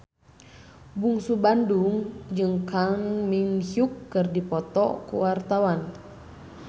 Bungsu Bandung jeung Kang Min Hyuk keur dipoto ku wartawan